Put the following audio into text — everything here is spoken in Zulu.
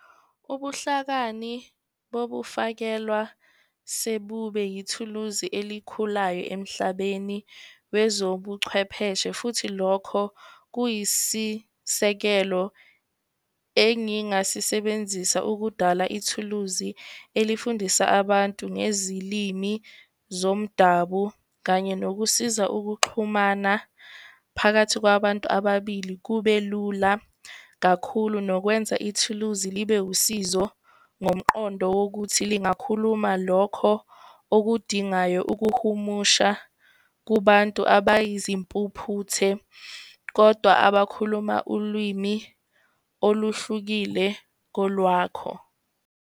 Ubuhlakani bokufakelwa sebube yithuluzi elikhulayo emhlabeni wezobuchwepheshe, futhi lokho kuyisisekelo engingasisebenzisa ukudala ithuluzi elifundisa abantu ngezilimi zomdabu kanye nokusiza ukuxhumana phakathi kwabantu ababili, kubelula kakhulu. Nokwenza ithuluzi libe wusizo ngomqondo wokuthi, lingakhuluma lokho okudingayo, ukuhumusha kubantu abayizimpuphuthe, kodwa abakhuluma ulwimi oluhlukile kolwakho.